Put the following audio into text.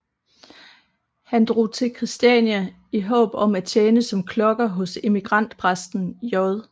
Han drog til Christiania i håb om at tjene som klokker hos emigrantpræsten J